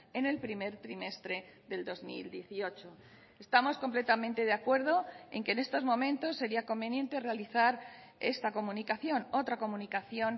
en el primer trimestre del dos mil dieciocho estamos completamente de acuerdo en que en estos momentos sería conveniente realizar esta comunicación otra comunicación